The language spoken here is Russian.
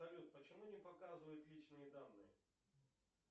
салют почему не показывают личные данные